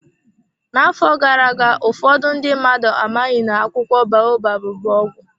N'afọ gara aga, ụfọdụ ndị mmadụ amaghị na akwụkwọ baobab bụ ọgwụ.